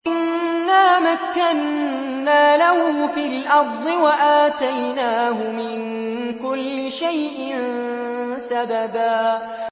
إِنَّا مَكَّنَّا لَهُ فِي الْأَرْضِ وَآتَيْنَاهُ مِن كُلِّ شَيْءٍ سَبَبًا